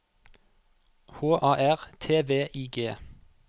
H A R T V I G